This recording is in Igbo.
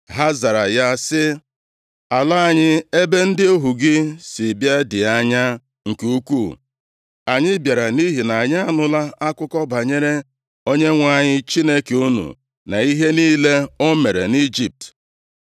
Ha zara ya sị, “Ala anyị, ebe ndị ohu gị si bịa dị anya nke ukwuu. Anyị bịara nʼihi na anyị anụla akụkọ banyere Onyenwe anyị Chineke unu, na ihe niile o mere nʼIjipt.